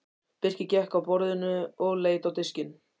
Birkir gekk að borðinu og leit á diskinn.